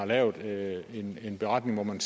lavet en beretning hvor man